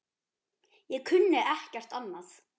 Ég kunni ekkert annað.